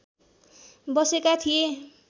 बसेका थिए